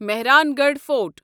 Mehrangarh fort